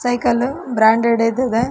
cycle ವು branded ಇದ್ದವೇ --